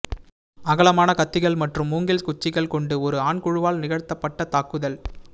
அகலமான கத்திகள் மற்றும் மூங்கில் குச்சிகள் கொண்டு ஒரு ஆண் குழுவால் நிகழ்த்தப்பட்ட தாக்குதல்